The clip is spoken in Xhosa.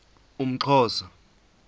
umxhosa